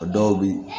O dɔw bi